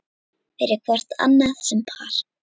fyrir hvort annað sem par